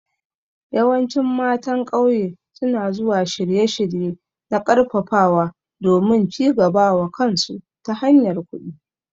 Yawancin matan ƙauye su na zuwa shirye-shirye na ƙarfafawa domin cigaba wa kansu ta hanyar kuɗi.